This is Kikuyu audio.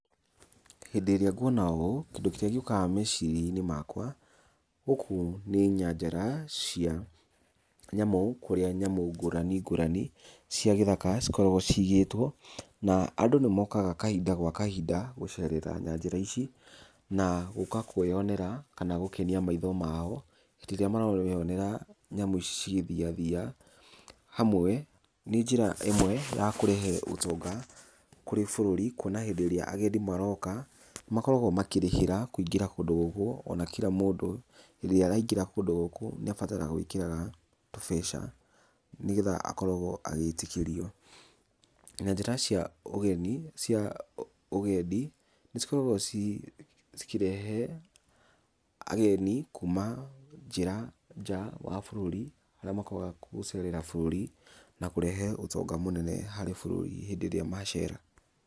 Hĩndĩ ĩrĩa nguona ũũ, kĩndũ kĩrĩa gĩũkaga meciria-inĩ makwa, gũkũ nĩ nyanjara cia nyamũ, kũrĩa nyamũ ngũrani ngũrani cia gĩthaka cikoragwo cigĩtwo, na andũ nĩ mokaga kahinda gwa kahinda gũcerera nyanjara ici, na gũka kwĩyonera kana gũkenia maitho mao, hĩndĩ ĩrĩa mareyonera nyamũ ici cigĩthiathia hamwe, nĩ njĩra ĩmwe ya kũrehe ũtonga kũrĩ bũrũri kuona hĩndĩ ĩrĩa agendi maroka, nĩ makoragwo makĩrĩhĩra kũingĩra kũndũ gũkũ, ona kira mũndũ rĩrĩa araingĩra kũndũ gũkũ nĩ abataraga gwĩkĩra tũbeca, nĩgetha akorwo agĩtĩkĩrio. Nyanjara cia ũgeni cia ũgendi, nĩ cikoragwo ci cikĩrehe ageni kuuma nja wa bũrũri arĩa mokaga gũcerera bũrũri, na kũrehe ũtonga mũnene harĩ bũrũri hĩndĩ ĩrĩa macera.